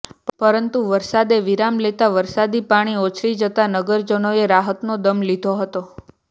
પરંતુ વરસાદે વિરામ લેતા વરસાદી પાણી ઓસરી જતા નગરજનોએ રાહતનો દમ લીધો હતો